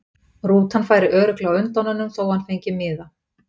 Rútan færi örugglega á undan honum þó að hann fengi miða.